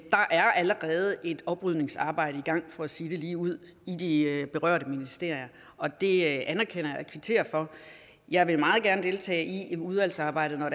er allerede et oprydningsarbejde i gang for at sige det ligeud i de berørte ministerier og det anerkender jeg og kvitterer for jeg vil meget gerne deltage i udvalgsarbejdet når